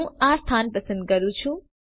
હું આ સ્થાન પસંદ કરું છું